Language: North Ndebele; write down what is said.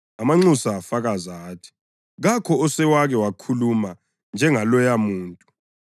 Amanxusa afakaza athi, “Kakho osewake wakhuluma njengaloyamuntu.”